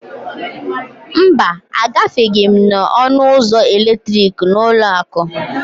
mba, Agafeghị m n'ọnụ ụzọ eletrikị n'ụlọ akụ